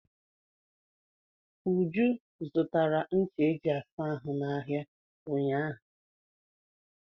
Uju zụtara ncha eji asa ahụ n'ahịa ụnyaahụ.